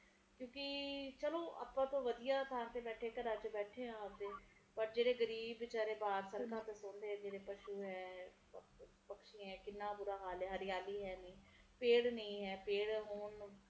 ਚਲੋ ਆਪਾ ਤਾ ਵਧੀਆ ਥਾਂ ਤੇ ਬੈਠੇ ਆ ਪੱਕੇ ਘਰਾਂ ਚ ਬੈਠੇ ਆ ਆਵਦੇ ਪਰ ਜਿਹੜੇ ਗਰੀਬ ਵਿਚਾਰੇ ਸੜਕਾਂ ਤੇ ਪੈਂਦੇ ਪਸ਼ੂ ਪਖਸ਼ੀ ਹੈ ਕਿੰਨਾ ਬੁਰਾ ਹਾਲ ਐ ਹਰਿਆਲੀ ਹੈ ਪੇੜ ਨਹੀਂ ਹੈ ਪੇੜ ਹੋਣ